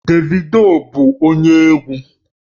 Davido bụ onye egwu